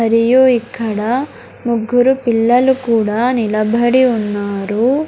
మరియు ఇక్కడ ముగ్గురు పిల్లలు కూడా నిలబడి ఉన్నారు.